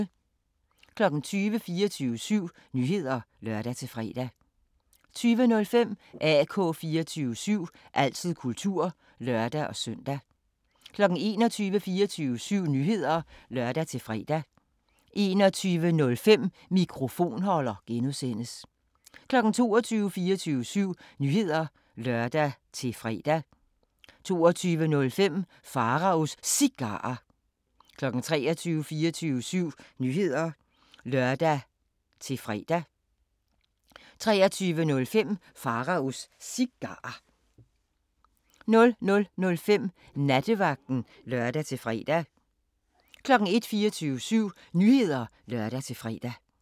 20:00: 24syv Nyheder (lør-fre) 20:05: AK 24syv – altid kultur (lør-søn) 21:00: 24syv Nyheder (lør-fre) 21:05: Mikrofonholder (G) 22:00: 24syv Nyheder (lør-fre) 22:05: Pharaos Cigarer 23:00: 24syv Nyheder (lør-fre) 23:05: Pharaos Cigarer 00:05: Nattevagten (lør-fre) 01:00: 24syv Nyheder (lør-fre)